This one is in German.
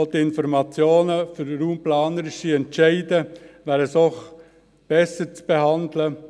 Auch die Informationen für raumplanerische Entscheide wären doch besser zu behandeln.